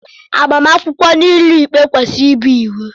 Agbamakwụkwọ n'ụlọ ikpe kwesịrị ịbụ iwu.